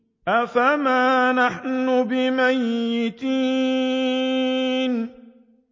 أَفَمَا نَحْنُ بِمَيِّتِينَ